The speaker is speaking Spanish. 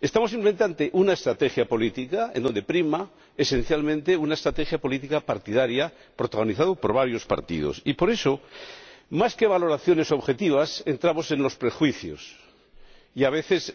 Estamos simplemente ante una estrategia política donde prima esencialmente una estrategia política partidaria, protagonizada por varios partidos, y, por eso, más que en valoraciones objetivas, entramos en los prejuicios y, a veces,